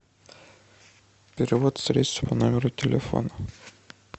перевод средств по номеру телефона